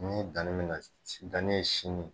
Ni dannen bɛna, dannen ye sini.